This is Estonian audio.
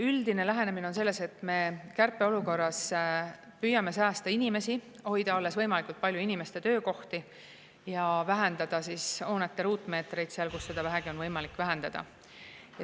Üldine lähenemine on see, et me kärpeolukorras püüame säästa inimesi, hoida alles võimalikult palju inimeste töökohti, ja vähendada hoonete ruutmeetreid seal, kus seda vähegi on võimalik vähendada.